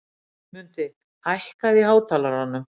Mundi, hækkaðu í hátalaranum.